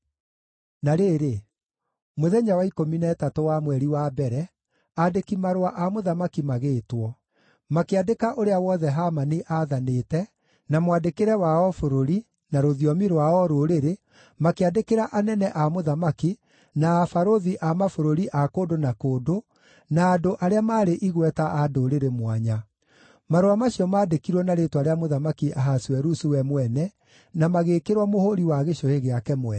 Na rĩrĩ, mũthenya wa ikũmi na ĩtatũ wa mweri wa mbere, aandĩki-marũa a mũthamaki magĩĩtwo. Makĩandĩka ũrĩa wothe Hamani aathanĩte, na mwandĩkĩre wa o bũrũri, na rũthiomi rwa o rũrĩrĩ, makĩandĩkĩra anene a mũthamaki, na abarũthi a mabũrũri a kũndũ na kũndũ, na andũ arĩa maarĩ igweta a ndũrĩrĩ mwanya. Marũa macio maandĩkirwo na rĩĩtwa rĩa Mũthamaki Ahasuerusu we mwene, na magĩĩkĩrwo mũhũũri wa gĩcũhĩ gĩake mwene.